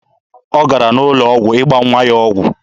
Ọ gara n'ụlọ ọgwụ ịgba nwa ya ọgwụ.